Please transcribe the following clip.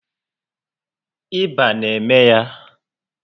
Ịba na eme ya